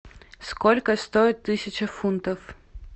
сколько стоит тысяча фунтов